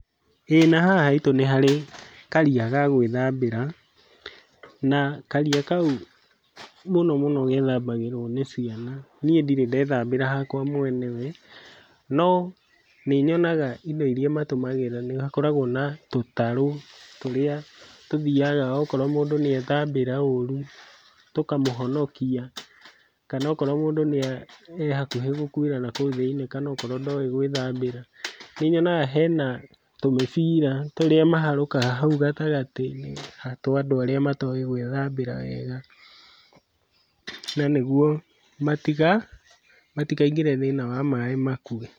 Ĩĩ nahaha haitũ nĩ harĩ karia ga gwĩthambĩra, na karia kau mũno mũno gethambagĩrwo nĩ ciana, niĩ ndirĩ ndethambĩra hakwa mwenewe, no nĩnyonaga indo iria mahũthagĩra nĩhakoragwo na tũtarũ tũrĩ tũthiaga okorwo mũndũ nĩethambĩra ũrũ tũkamũhonokia, kana okorwo mũndũ nĩa e hakuhĩ gũkuĩra nakũu thĩiniĩ kana okorwo ndoĩ gwĩthambĩra, nĩnyonaga hena tũmĩbira tũrĩa maharũkaga hau gatagatĩ twa andũ arĩa matoĩ gwĩthambĩra wega na nĩguo matikaingĩre thĩiniĩ wa maĩ makue.